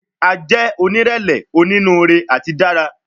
A jẹ onírẹlẹ, oninuure ati dara